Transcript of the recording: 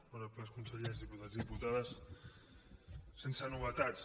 honorables consellers diputats i diputades sense novetats